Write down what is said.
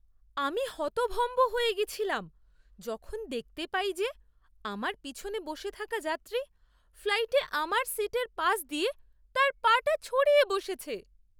আমি হতভম্ব হয়ে গেছিলাম যখন দেখতে পাই যে আমার পিছনে বসে থাকা যাত্রী ফ্লাইটে আমার সিটের পাশ দিয়ে তার পা টা ছড়িয়ে বসেছে।